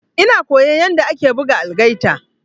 Ina koyan yanda ake buga algaita.